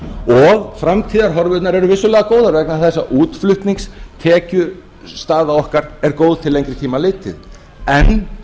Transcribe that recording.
og framtíðarhorfurnar eru vissulega góðar vegna þess að útflutningstekjustaða okkar góð til lengri tíma litið en